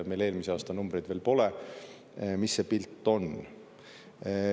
Meil eelmise aasta numbreid veel pole, mis see pilt on.